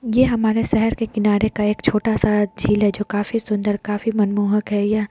ये हमारे शहर के किनारे का एक छोटा सा झील है जो काफी सुन्दर काफी मनमोहक है। यह --